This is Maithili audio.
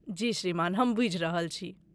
जी श्रीमान, हम बूझि रहल छी।